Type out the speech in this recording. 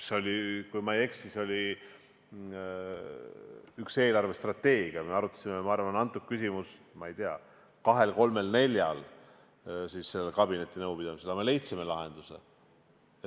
See oli, kui ma ei eksi, ühe eelarvestrateegia puhul, me arutasime küsimust, ma ei tea, kahel, kolmel, neljal kabinetinõupidamisel, aga me leidsime lahenduse.